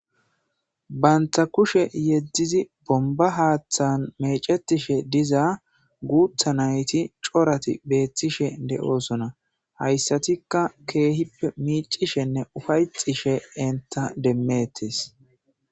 Bantha kushe yeddizi bomba haaththan mecetishe diza guutha nayti corati beethtishe de'oosona hayssatikka keehippe miicishenne ufayxishe enta demmettes.